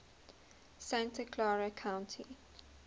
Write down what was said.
santa clara county